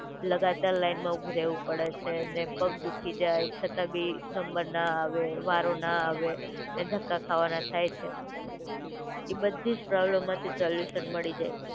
લગાતાર લાઇનમા ઊભું રેહવું પડે છે, ને પગ દુખી જાય છતાં બી નંબર ના આવે, વારો ના આવે અને ધક્કા ખાવાના થાય છે. એ બધી જ પ્રોબ્લેમ માંથી સોલ્યૂશન મડી જાય છે.